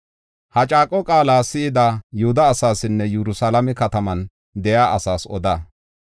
“Ha caaqo qaala si7ada Yihuda asaasinne Yerusalaame kataman de7iya asaas oda.